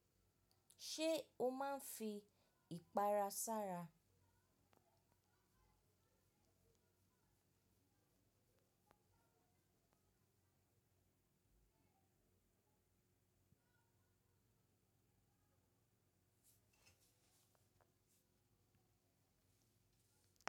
Ṣé o máa ń fi ìpara sára?